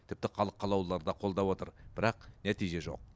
тіпті халық қалаулылары да қолдап отыр бірақ нәтиже жоқ